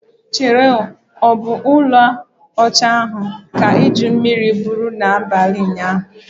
Chere o, obu uo ala ocha ahu ka iju mmiri buru na abali unyanya?